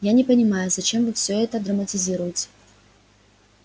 я не понимаю зачем вы всё это драматизируете